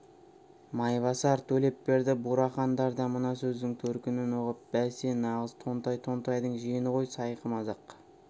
майбасар төлепберді бурахандар да мына сөздің төркінін ұғып бәсе нағыз тонтай тонтайдың жиені ғой сайқымазақ